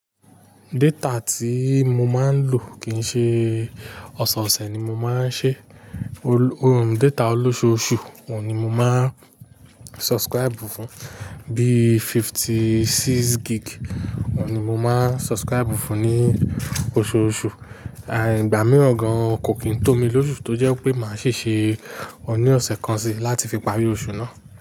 Data tí mo máa ń lò kì ń ṣe ọ̀sẹ̀ẹ̀sẹ̀ ni mo máa ń ṣe. Uhmm data olóṣùùṣù, òun ni mo máa subscribe fún, bí i fifty-six gig, òun ni mo máa subscribe fún ní oṣùùṣù. Ẹ̀hẹ̀n ìgbà mìíràn gan-an kò kí n tó mi lósú tọ́ jẹ́ pé màá ṣèṣe òun ní ọ̀sẹ̀ kan si láti fi parí oṣù náà.